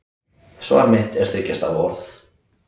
Svar mitt er þriggja stafa orð